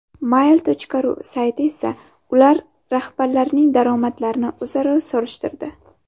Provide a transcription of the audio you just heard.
Mail.ru sayti esa ular rahbarlarining daromadlarini o‘zaro solishtirdi .